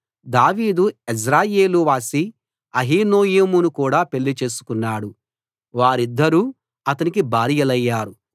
దావీదు యెజ్రెయేలు వాసి అహీనోయమును కూడా పెళ్లి చేసుకున్నాడు వారిద్దరూ అతనికి భార్యలయ్యారు